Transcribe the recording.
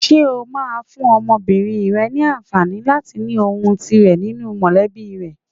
Ṣé o máa fún ọmọbìnrin rẹ ní àǹfààní láti ní ohùn tirẹ̀ nínú mọ̀lẹ́bí rẹ?